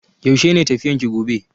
Yaushe ne tafiyan ki gobe?